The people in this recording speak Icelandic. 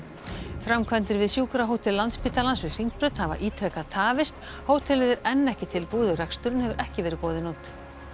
framkvæmdir við sjúkrahótel Landspítalans við Hringbraut hafa ítrekað tafist hótelið er enn ekki tilbúið og reksturinn hefur ekki verið boðinn út